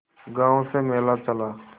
गांव से मेला चला